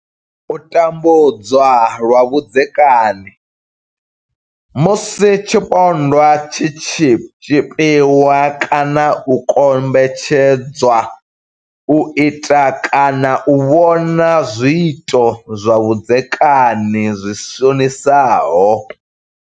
U tambudzwa lwa vhudzekani, Musi tshipondwa tshi tshi tshipiwa kana u kombetshed zwa u ita kana u vhona zwiito zwa vhudzekani zwi shonisaho.